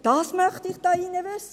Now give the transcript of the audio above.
Das möchte ich hier im Saal wissen.